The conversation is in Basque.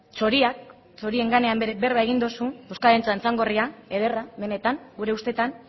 txorien gainean berba egin duzu euskararen txantxangorria ederra benetan gure ustetan